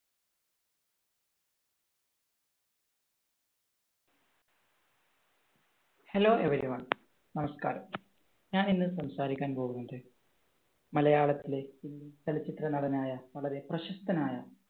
hello every one നമസ്കാരം. ഞാൻ ഇന്ന് സംസാരിക്കാൻ പോകുന്നത് മലയാളത്തിലെ ചലച്ചിത്രനടനായ വളരെ പ്രശസ്തനായ